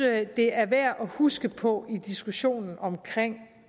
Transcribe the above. det er værd at huske på i diskussionen om